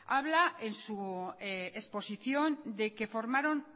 habla en su exposición de que formaron